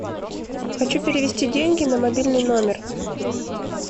хочу перевести деньги на мобильный номер